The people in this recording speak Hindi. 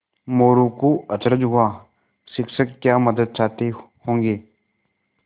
मोरू को अचरज हुआ शिक्षक क्या मदद चाहते होंगे